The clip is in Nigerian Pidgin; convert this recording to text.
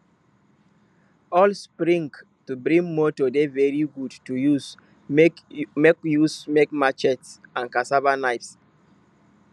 old spring to big motor dey very good to use make use make machetes and cassava knives